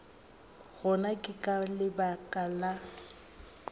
gona ke ka lebaka la